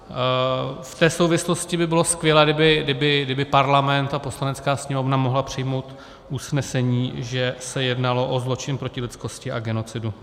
V té souvislosti by bylo skvělé, kdyby Parlament a Poslanecká sněmovna mohly přijmout usnesení, že se jednalo o zločin proti lidskosti a genocidu.